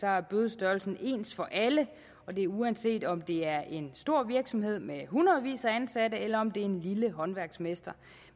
er bødestørrelsen ens for alle og det er uanset om det er en stor virksomhed med hundredvis af ansatte eller om det er en lille håndværksmester